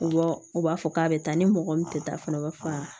U b'a u b'a fɔ k'a bɛ taa ni mɔgɔ min tɛ taa fana u b'a fɔ aa